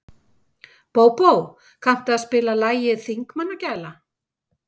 Bóbó, kanntu að spila lagið „Þingmannagæla“?